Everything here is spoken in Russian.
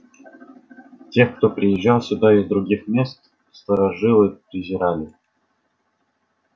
тех кто приезжал сюда из других мест старожилы презирали